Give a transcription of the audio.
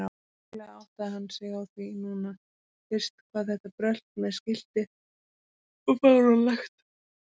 Trúlega áttaði hann sig á því núna fyrst hvað þetta brölt með skiltið var fáránlegt.